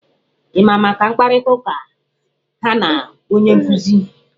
Ị ma maka mkparịta ụka ha na onye nkụzi?